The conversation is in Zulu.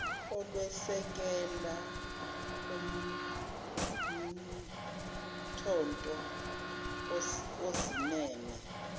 olwesekela umntotho osimeme